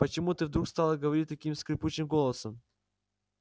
почему ты вдруг стала говорить таким скрипучим голосом